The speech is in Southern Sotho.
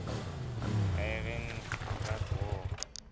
iran iraq war